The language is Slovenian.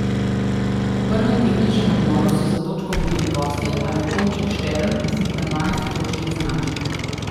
Ob prvem tehničnem odmoru so za točko vodili gostje, a je Tonček Štern izid na dvanajsti točki izenačil.